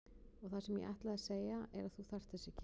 Og það sem ég ætlaði að segja er að þú þarft þess ekki.